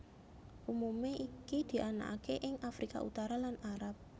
Umumé iki dianakaké ing Afrika Utara lan Arab